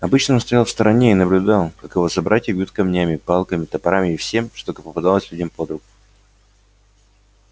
обычно он стоял в стороне и наблюдал как его собратья бьют камнями палками топорами и всем что попадалось людям под руку